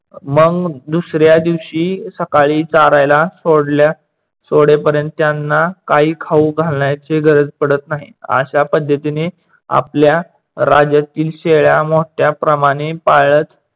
मंग दुसऱ्या दिवशी सकाळी चारायला सोडल्या सोडेपर्यंत त्यांना काही खाऊ घालायची गरज पडत नाही. अश्या पद्धतीने आपल्या राज्यातील शेळ्या मोठ्या प्रमाणे पाळत